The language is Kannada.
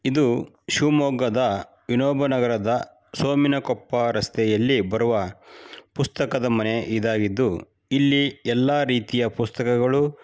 ಇದು ಶಿವಮೊಗಾದ್ ವಿನೋಬಾ ನಗರದ ಸೋಮಿನಕೊಪ್ಪ ರಸ್ತೆಯಲ್ಲಿ ಬರುವ ಪುಸ್ತಕದ್ ಮನೆ ಇದ್ದಾಗಿದ್ದು ಇಲ್ಲಿ ಎಲ್ಲ ರೀತಿ ಪುಸ್ತಕಗಳು--